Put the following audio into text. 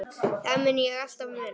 Það mun ég alltaf muna.